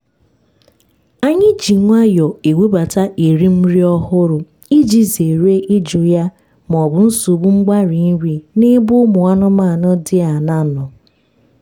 anyị ji nwayọọ ewebata erim nri ọhụrụ iji zere ịjụ ya maọbụ nsogbu mgbarị nri n’ebe ụmụ anụmanụ dị aṅaa nọ